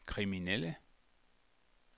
kriminelle